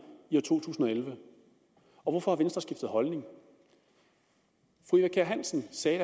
i 2011 og hvorfor har venstre skiftet holdning fru eva kjer hansen sagde